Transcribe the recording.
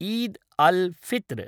Eid al Fitr